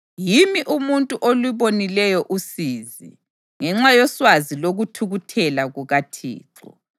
Yimi umuntu olubonileyo usizi ngenxa yoswazi lokuthukuthela kukaThixo.